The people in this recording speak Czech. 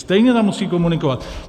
Stejně tam musí komunikovat.